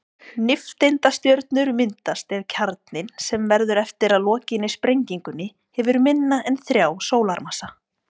Nifteindastjörnur myndast ef kjarninn, sem verður eftir að lokinni sprengingunni, hefur minna en þrjá sólarmassa.